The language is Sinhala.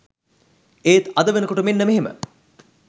ඒත් අද වෙනකොට මෙන්න මෙහෙම